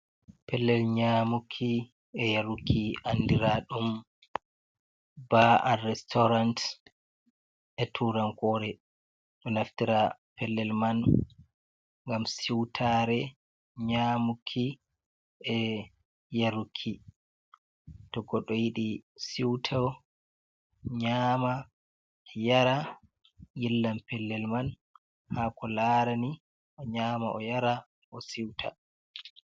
Pellel nyamuki e yaruki andira ɗum ba’bal restorant e turankore to naftira pellel man, ngam siutare nyamuki e yaruki to koɗo yiɗi suto nyama yara yillan pellel man ha ko larani o nyama o yara o siuta.